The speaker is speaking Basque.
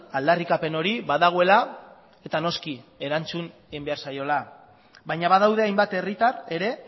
aldarrikapen hori badagoela eta noski erantzun egin behar zaiola baina badaude hainbat herritar ere